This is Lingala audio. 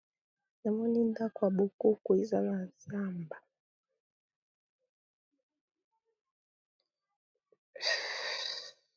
Namoni ndaku bokoko eza na zamba.